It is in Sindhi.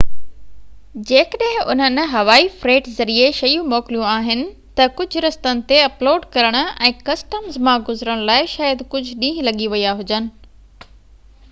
جيڪڏهن انهن هوائي فريٽ ذريعي شيون موڪليون آهن ته ڪجهه رستن تي اپلوڊ ڪرڻ ۽ ڪسٽمز مان گذرڻ لاءِ شايد ڪجهه ڏينهن لڳي ويا هجن